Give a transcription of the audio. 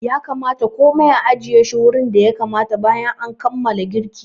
Ya kamata komai a ajiye shi wurin da ya kamata bayan kammala girki.